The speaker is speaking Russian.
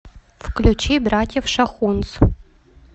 включи братьев шахунц